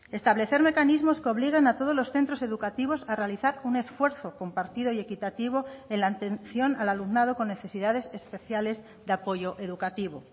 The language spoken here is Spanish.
establecer mecanismos que obliguen a todos los centros educativos a realizar un esfuerzo compartido y equitativo en la atención al alumnado con necesidades especiales de apoyo educativo